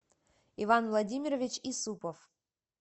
иван владимирович исупов